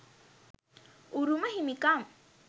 උරුම හිමිකම්,